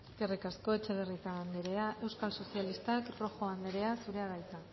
eskerrik asko etxebarrieta anderea euskal sozialistak rojo anderea zurea da hitza